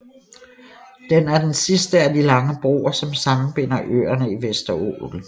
Den er den sidste af de lange broer som sammenbinder øerne i Vesterålen